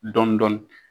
Dɔndɔni